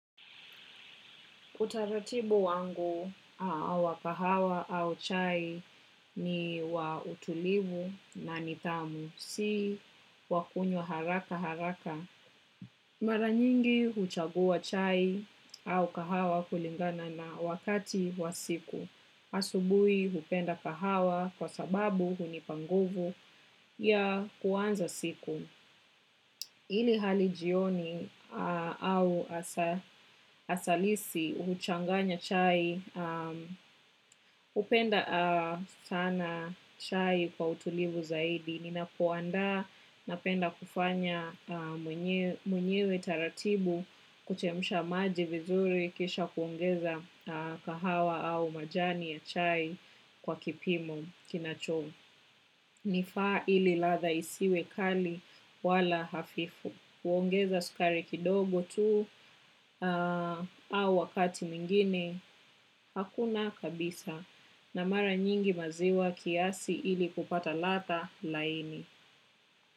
Utaratibu wangu awa kahawa au chai ni wa utulivu na nitamu, si wakunywa haraka haraka. Maranyingi huchagua chai au kahawa kulingana na wakati wa siku. Asubui hupenda kahawa kwa sababu hunipa nguvu ya kuanza siku. Ili hali jioni au asalisi uchanganya chai, upenda sana chai kwa utulivu zaidi. Ninapoandaa napenda kufanya mwenyewe taratibu kuchemusha maji vizuri kisha kuongeza kahawa au majani ya chai kwa kipimo kinacho. Nifaa ili latha isiwe kali wala hafifu. Kuongeza sukari kidogo tu au wakati mwingine, hakuna kabisa na mara nyingi maziwa kiasi ili kupata latha laini.